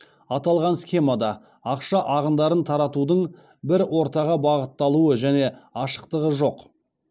аталған схемада ақша ағындарын таратудың бір ортаға бағытталуы және ашықтығы жоқ